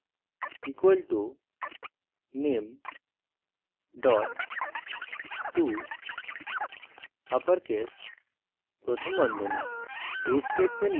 name = name touppercase ;